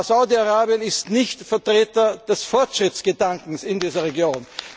Saudi Arabien ist nicht Vertreter des Fortschrittsgedankens in dieser Region.